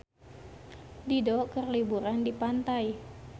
Dido keur liburan di pantai